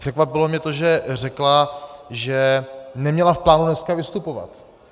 Překvapilo mě to, že řekla, že neměla v plánu dneska vystupovat.